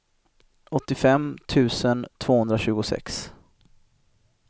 åttiofem tusen tvåhundratjugosex